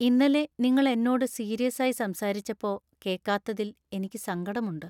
ഇന്നലെ നിങ്ങൾ എന്നോട് സീരിയസായി സംസാരിച്ചപ്പോ കേക്കാത്തതില്‍ എനിക്ക് സങ്കടമുണ്ട്.